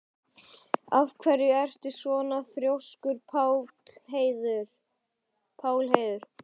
Af hverju ertu svona þrjóskur, Pálheiður?